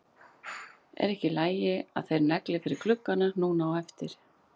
Er ekki í lagi að þeir negli fyrir gluggana núna á eftir?